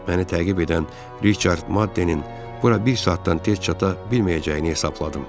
Məni təqib edən Riçard Maddeninin bura bir saatdan tez çata bilməyəcəyini hesabladım.